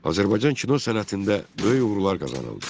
Azərbaycan kino sənətində böyük uğurlar qazanıldı.